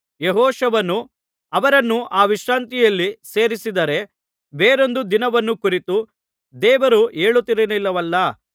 ಯೆಹೋಶುವನು ಅವರನ್ನು ಆ ವಿಶ್ರಾಂತಿಯಲ್ಲಿ ಸೇರಿಸಿದ್ದಾದರೆ ಬೇರೊಂದು ದಿನವನ್ನು ಕುರಿತು ದೇವರು ಹೇಳುತ್ತಿರಲಿಲ್ಲವಲ್ಲಾ